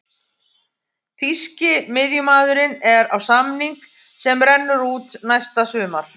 Þýski miðjumaðurinn er á samning sem rennur út næsta sumar.